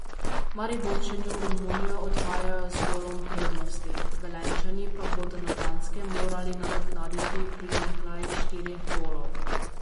Mariborčani v Romunijo odhajajo z golom prednosti, Velenjčani pa bodo na Danskem morali nadoknaditi primanjkljaj štirih golov.